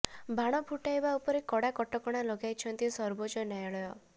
ବାଣ ଫୁଟାଇବା ଉପରେ କଡା କଟକଣା ଲଗାଇଛନ୍ତି ସର୍ବୋଚ୍ଚ ନ୍ୟାୟାଳୟ